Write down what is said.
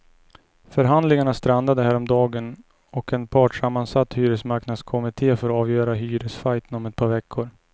Förhandlingarna strandade häromdagen och en partssammansatt hyresmarknadskommitté får avgöra hyresfajten om ett par veckor.